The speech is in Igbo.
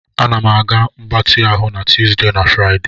M na-aga mgbatị ahụ na Tuesday na Friday.